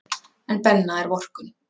En Benna er vorkunn.